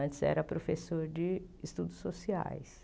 Antes eu era professora de estudos sociais.